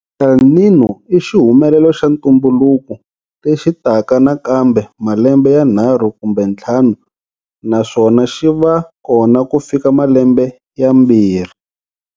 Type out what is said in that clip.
El Niño i xihumelelo xa ntumbuluko lexi taka nakambe malembe yanharhu kumbe ntlhanu naswona xi va kona ku fika malembe yambirhi.